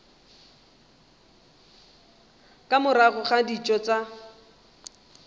ka morago ga dijo tša